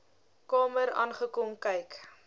kamer aangekom kyk